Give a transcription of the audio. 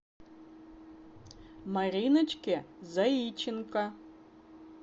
мариночке заиченко